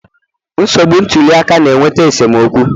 Nsogbu ntuli aka na-eweta esemokwu